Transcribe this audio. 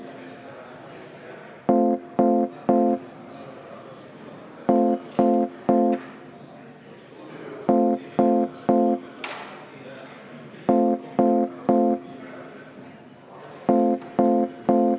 Määran muudatusettepanekute tähtajaks 2. jaanuari 2019 kell 16.